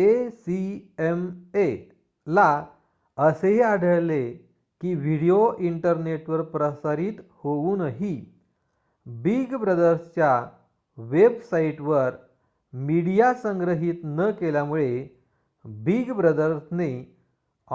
acma ला असेही आढळले की व्हिडीओ इंटरनेटवर प्रसारित होऊनही बिग ब्रदरच्या वेबसाइटवर मीडिया संग्रहित न केल्यामुळे बिग ब्रदरने